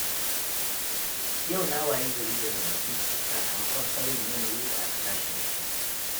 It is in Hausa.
Yau na wayi gari da zazzaɓi, sakamakon sauyin yanayi da aka tashi da shi.